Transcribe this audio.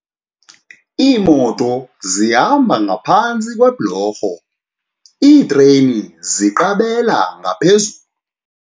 Iimoto zihamba ngaphantsi kweblorho iitreyini ziqabela ngaqhezulu.